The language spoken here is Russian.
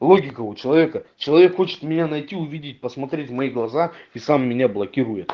логика у человека человек хочет меня найти увидеть посмотреть в мои глаза и сам меня блокирует